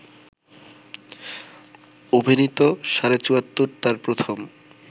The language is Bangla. অভিনীত ‘সাড়ে চুয়াত্তর’ তার প্রথম